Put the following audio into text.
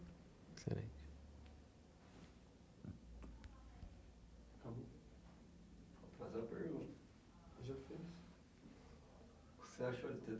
Excelente. Acabou. Vou fazer a pergunta. Já fez. O que você achou de